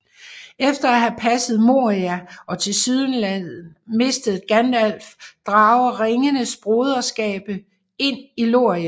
Efter at have passeret Moria og tilsyneladende mistet Gandalf drager Ringens Broderskab ind i Lorien